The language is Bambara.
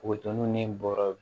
Buto ninnu ni bɔrɔ